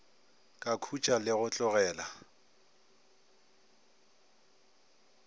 ka khutšo le go tlogela